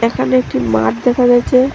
এখানে একটি মাঠ দেখা যাচ্ছে।